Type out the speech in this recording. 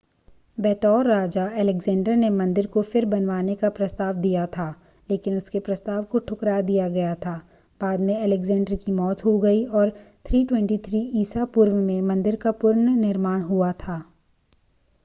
बतौर राजा अलेक्जेंडर ने मंदिर को फिर बनवाने का प्रस्ताव दिया था लेकिन उसके प्रस्ताव को ठुकरा दिया गया था बाद में अलेक्जेंडर की मौत हो गई और 323 ईसा पूर्व में मंदिर का पुनर्निर्माण हुआ था